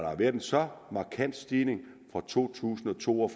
har været en så markant stigning fra to tusind og to og